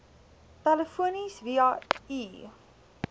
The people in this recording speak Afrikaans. telefonies via e